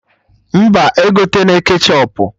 Mba, egotena ketchọp